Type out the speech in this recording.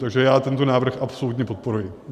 Takže já tento návrh absolutně podporuji.